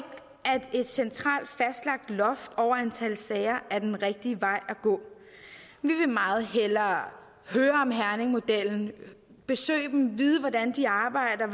at et centralt fastlagt loft over antallet af sager er den rigtige vej at gå vi vil meget hellere høre om herningmodellen besøge dem vide hvordan de arbejder